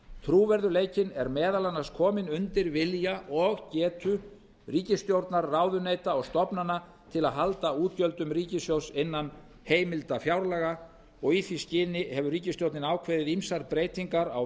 trúverðugleikinn er meðal annars kominn undir vilja og getu ríkisstjórnar ráðuneyta og stofnana til að halda útgjöldum ríkissjóðs innan heimilda fjárlaga í því skyni hefur ríkisstjórnin ákveðið ýmsar breytingar á